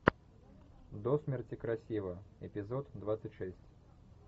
до смерти красива эпизод двадцать шесть